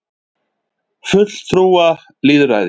fulltrúalýðræði